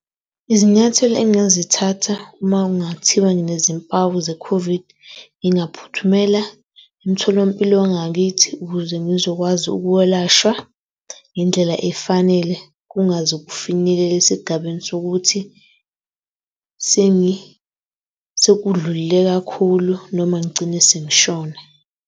Izinyathelo engingazithatha uma kungathiwa nginezimpawu ze-COVID, ngingaphuthumela emtholampilo wangakithi. Ukuze ngizokwazi ukwelashwa ngendlela efanele kungaze kufinyelele esigabeni sokuthi sekudlulele kakhulu noma ngigcine sengishona.